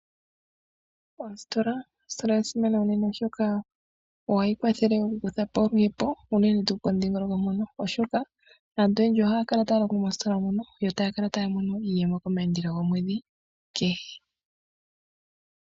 Oositola, ositola oya simana unene oshoka ohadhi kwathele oku kutha po oluhepo unene tuu pomudhingoloko. Aantu oyendji otaya kala taya longo moositola moka etaya kala taya mono iiyemo komaandelo gomwedhi kehe.